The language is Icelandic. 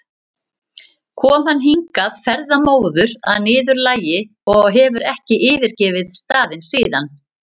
kom hann hingað ferðamóður að næturlagi og hefur ekki yfirgefið staðinn síðan.